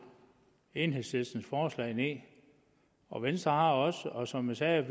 enhedslistens forslag ned og venstre har også og som jeg sagde